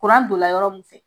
Kuran donna yɔrɔ min fɛ